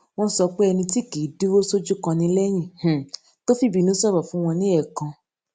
wón sọ pé ẹni tí kì í dúró sójú kan ni léyìn um tó fìbínú sòrò fun won ni eekan